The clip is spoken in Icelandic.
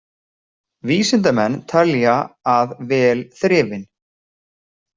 Vísindamenn telja að vel þrifin.